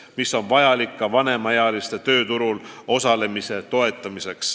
Sedagi on vaja, et toetada vanemaealiste tööturul osalemist.